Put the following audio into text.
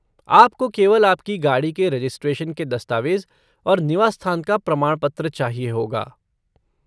आपको केवल आपकी गाड़ी के रजिस्ट्रेशन के दस्तावेज़ और निवास स्थान का प्रमाण पत्र चाहिए होगा।